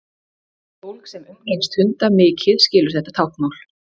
Fólk sem umgengst hunda mikið skilur þetta táknmál.